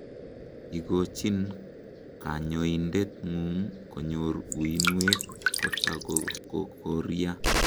igochin kanyoindet ngung konyor uinwek kotakokoria